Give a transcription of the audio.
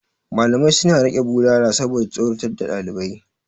Malamai suna riƙe bulala saboda tsorata ɗalibai.